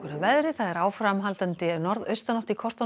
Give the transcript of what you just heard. veðri það er áframhaldandi norðaustanátt í kortunum